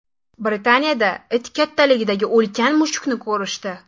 Britaniyada it kattaligidagi ulkan mushukni ko‘rishdi .